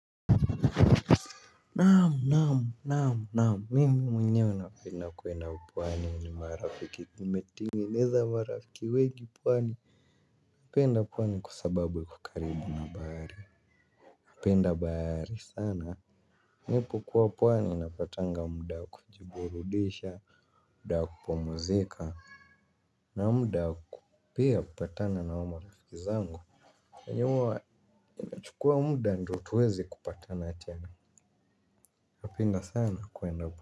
Naam, mimi mwenyewe napenda kuena pwani ni marafiki nimetengeneza marafiki wengi pwani napenda pwani kwa sababu iko karibu na bahari napenda bahari sana nipo kuwa pwani napatanga muda wa kujiburudisha, muda wa kupumzika. Na muda pia kupatana na marafiki zangu huwa inachukua muda ndio tuweze kupatana tena, napenda sana kuenda pwani.